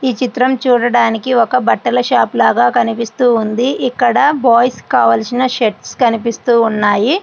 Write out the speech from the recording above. ఈ చిత్రం చూడడానికి ఒక బట్టల షాప్ లాగా కనిపిస్తుంది. ఇక్కడ బాయ్స్ కి కావాల్సిన షర్ట్స్ కనిపిస్తున్నాయి.